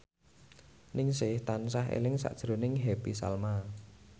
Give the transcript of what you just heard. Ningsih tansah eling sakjroning Happy Salma